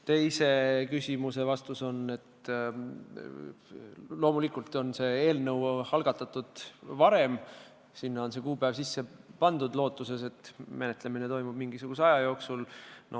Teise küsimuse vastus on, et loomulikult on see eelnõu algatatud varem ja sinna sai see kuupäev kirja pandud lootuses, et menetlemine toimub üsna kiiresti.